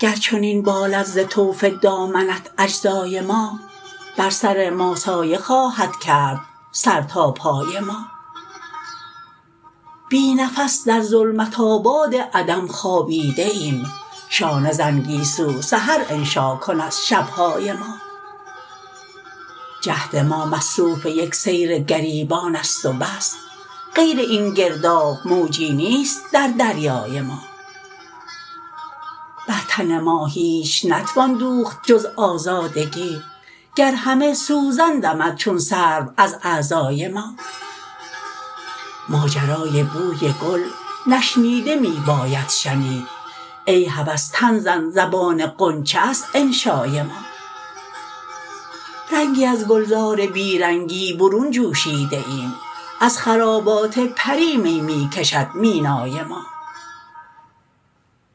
گر چنین بالد ز طوف دامنت اجزای ما بر سر ما سایه خواهدکرد سرتا پای ما بی نفس در ظلمت آباد عدم خوابیده ایم شانه زن گیسو سحر انشاکن از شبهای ما جهد ما مصروف یک سیرگریبان است وبس غیر این گرداب موجی نیست در دریای ما برتن ما هیچ نتوان دوخت جزآزادگی گرهمه سوزن دمد چون سروازاعضای ما ماجرای بوی گل نشنیده می باید شنید ای هوس تن زن زبان غنچه است انشای ما رنگی ازگلزار بیرنگی برون جوشیده ایم از خرابات پری می می کشد مینای ما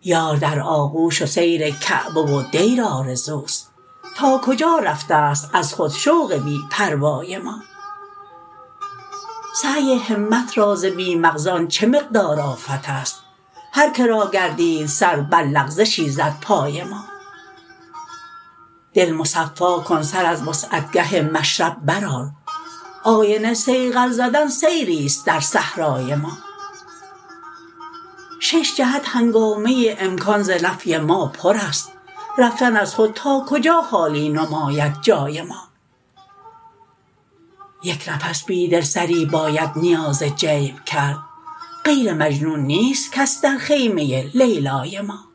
یار در آغوش و سیرکعبه و دیر آرزوست تا کجا رفته ست از خود شوق بی پروای ما سعی همت را ز بی مغزان چه مقدار آفت است هرکه راگردید سر برلغزشی زد پای ما دل مصفاکن سراز وستعگه مشرب برآر آینه صیقل زدن سیری ست درصحرای ما ششجهت هنگامه امکان ز نفی ماپر است رفتن از خود تا کجا خالی نماید جای ما یک نفس بیدل سری باید نیاز جیب کرد غیر مجنون نیست کس در خیمه لیلای ما